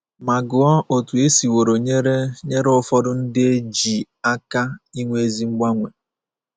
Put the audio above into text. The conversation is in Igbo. Ma gụọ otú e siworo nyere nyere ụfọdụ ndị e ji aka inwe ezi mgbanwe.